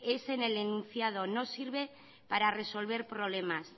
es en el enunciado no sirve para resolver problemas